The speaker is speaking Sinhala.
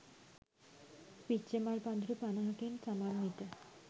පිච්චමල් පඳුරු පනහකින් සමන්විත